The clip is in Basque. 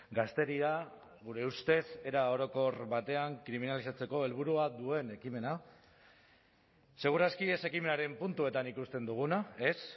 gazteria gure ustez era orokor batean kriminalizatzeko helburua duen ekimena segur aski ez ekimenaren puntuetan ikusten duguna ez